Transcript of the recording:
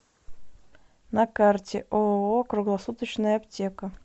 на карте ооо круглосуточная аптека